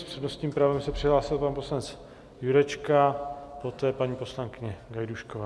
S přednostním právem se přihlásil pan poslanec Jurečka, poté paní poslankyně Gajdůšková.